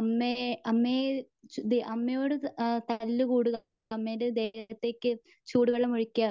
അമ്മയെ അമ്മയെ അമ്മയോട് തല്ല് കൂടുക. അമ്മേന്റെ ദേഹത്തേക്ക് ചൂടുവെള്ളം ഒഴിക്കുക.